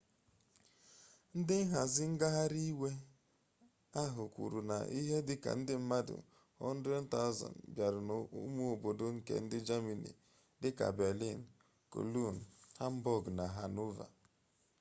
ndị nhazi ngagharị iwe ahụ kwuru n'ihe dị ka ndị mmadụ 100,000 bịara n'ụmụ obodo nke jamanị dị ka berlin cologne hamburg na hanover